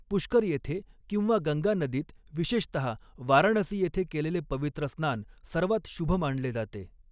पुष्कर येथे किंवा गंगा नदीत, विशेषतहा वाराणसी येथे केलेले पवित्र स्नान सर्वात शुभ माणले जाते.